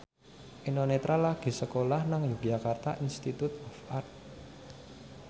Eno Netral lagi sekolah nang Yogyakarta Institute of Art